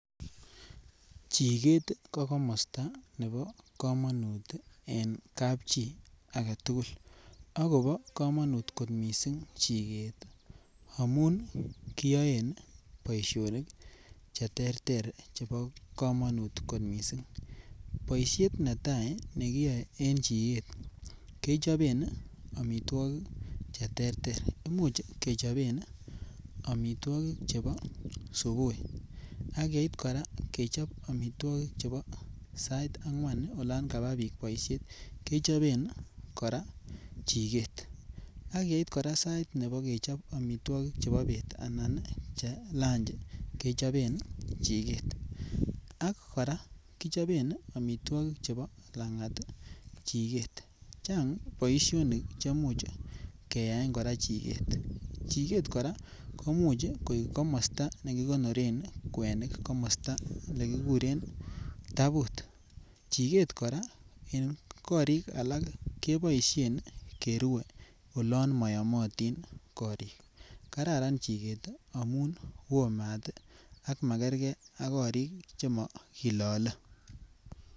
Chikeet ko komosta nebo komanut en kapchi age tugul, akobo komanut kot mising chikeet amun kiyoen boisionik cheterter chebo komanut kot mising, boisiet netai nekiyoe en chikeet, kechoben ii amitwokik cheterter, imuch cheboben amitwokik chebo subui ak yeit kora kechob amitwokik chebo sait angwan olon kaba piik boisiet kechoben kora chikeet ,ak yeit kora sait nebo kechob amitwokik chebo bet anan che lunch kechoben chikeet ,ak kora kichoben amitwokik chebo langat chikeet. Chang boisionik chemuch keyaen kora chikeet, chikeet kora komuch ii kora koik komosta nikikonoren kwenik komosta nekikuren tabut, chikeet kora en korik alak keboisien kerue olon moyomotin korik, kararan chikeet ii amum wo maat ak makerge ak korik che makilale.